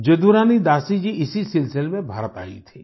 जदुरानी दासी जी इसी सिलसिले में भारत आई थीं